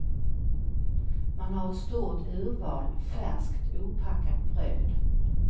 Man har ett stort urval färskt opackat bröd.